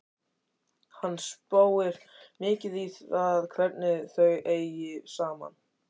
Hann spáir mikið í það hvernig þau eigi saman.